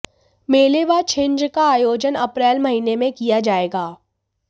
मेले व छिंज का आयोजन अप्रैल महीने में किया जाएगा